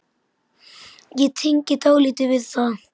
Ég tengi dálítið við það.